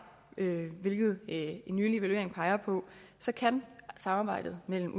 hvilket en nylig evaluering peger på så kan samarbejdet mellem